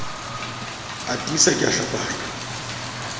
a tiisa ke a hlapanya